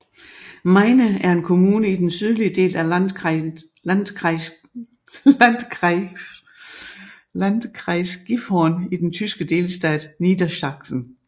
Meine er en kommune i den sydlige del af Landkreis Gifhorn i den tyske delstat Niedersachsen